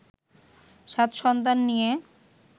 সাত সন্তান নিয়ে